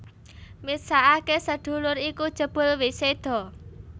Misakake sedulure iku jebul wis seda